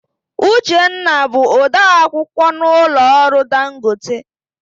Uchenna bụ ode akwukwọ n'ụlọ ọrụ Dangote.